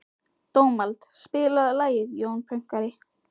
Dómald, spilaðu lagið „Jón Pönkari“.